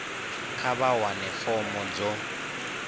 kha vha wane fomo dzo